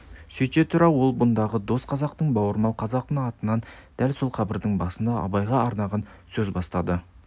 сөйте тұра ол бұндағы дос қазақтың бауырмал қазақтың атынан дәл осы қабірдің басында абайға арнаған сөз бастады